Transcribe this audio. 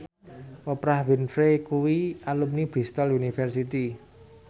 Oprah Winfrey kuwi alumni Bristol university